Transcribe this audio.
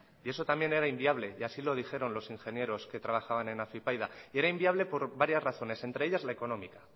y eso también era inviable y así lo dijeron los ingenieros que trabajaban en afypaida y eran inviable por varias razones entre ellas la económica